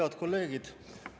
Head kolleegid!